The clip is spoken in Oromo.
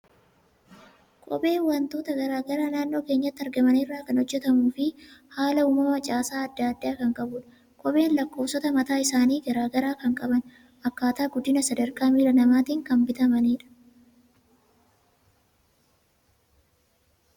Kopheen waantota garaagaraa naannoo keenyatti argaman irraa kan hojjetamuu fi haala uumama, caasaa addaa addaa kan qabudha. Kopheen lakkoofsota mataa isaanii garaagaraa kan qaban, akkaataa guddina sadarkaa miila namaatiin kan bitamanidha.